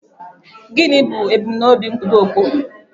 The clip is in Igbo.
Gịnị bụ ebumnobi nkwudo okpu?